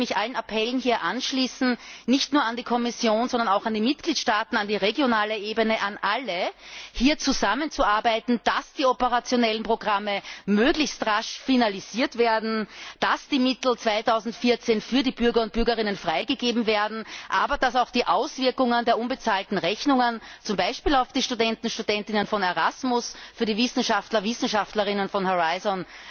Und ich möchte mich hier allen Appellen anschließen, nicht nur an die Kommission, sondern auch an die Mitgliedstaaten, an die regionale Ebene, an alle, hier zusammenzuarbeiten, damit die operationellen Programme möglichst rasch finalisiert werden, damit die Mittel 2014 für die Bürger und Bürgerinnen freigegeben werden, damit aber auch die Auswirkungen der unbezahlten Rechnungen zum Beispiel auf die Studentinnen und Studenten von Erasmus, auf die Wissenschaftler und Wissenschaftlerinnen von Horizon